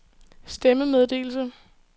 stemmemeddelelse